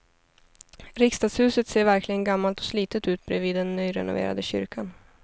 Riksdagshuset ser verkligen gammalt och slitet ut bredvid den nyrenoverade kyrkan.